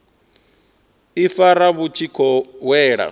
ifara vhu tshi khou wela